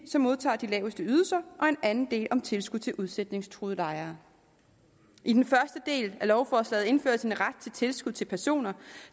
som modtager de laveste ydelser og en anden del om tilskud til udsætningstruede lejere i den første del af lovforslaget indføres en ret til tilskud til personer